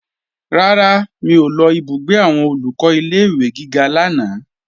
Rárá, mi ò lọ ìbúgbé àwọn Olùkọ́ ilé-ìwé gíga lánàá